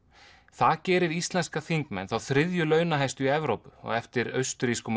það gerir íslenska þingmenn þá þriðju launahæstu í Evrópu á eftir austurrískum og